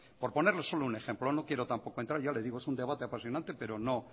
por ponerles solo un ejemplo no quiero tampoco entrar ya le digo es un debate apasionante pero